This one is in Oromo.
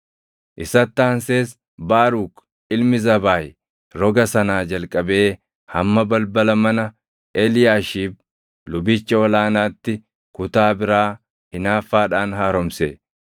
Isatti aansees Baaruk ilmi Zabaayi roga sanaa jalqabee hamma balbala mana Eliyaashiib lubicha ol aanaatti kutaa biraa hinaaffaadhaan haaromse.